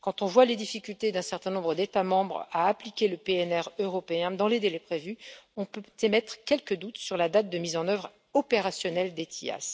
Quand on voit les difficultés d'un certain nombre d'États membres à appliquer le PNR européen dans les délais prévus, on peut émettre quelques doutes sur la date de mise en œuvre opérationnelle d'ETIAS.